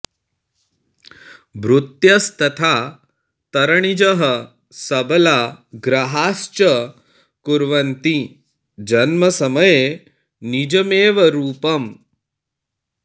भृत्यस्तथा तरणिजः सबला ग्रहाश्च कुर्वन्ति जन्मसमये निजमेव रूपम्